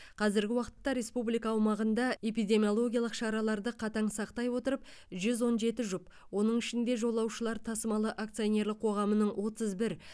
қазіргі уақытта республика умағында эпидемиологиялық шараларды қатаң сақтай отырып жүз он жеті жұп оның ішінде жолаушылар тасымалы акционерлік қоғамының отыз бір